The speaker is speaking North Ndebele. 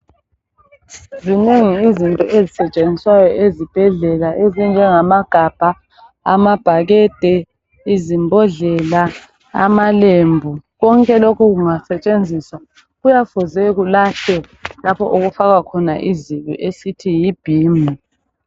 Zinengi izinto ezisetshenziswayo ezibhedlela ezinjengamagabha, amabhakede, izimbodlela amalembu. Konke lokhu kungasetshenziswa kuyafuze kulahlwe lapho okufakwa khona izibi esithi yibhimu.